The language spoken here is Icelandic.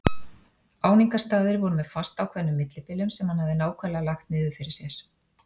Áningarstaðir voru með fastákveðnum millibilum sem hann hafði nákvæmlega lagt niður fyrir sér.